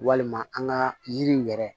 Walima an ka yiriw yɛrɛ